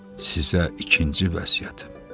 Sizə ikinci vəsiyyətim.